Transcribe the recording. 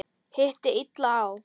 Hitti illa á.